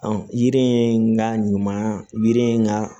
yiri in n ka ɲuman yiri in ka